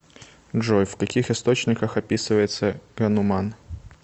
джой в каких источниках описывается гануман